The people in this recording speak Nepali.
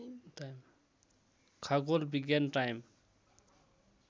खगोल विज्ञान टाइम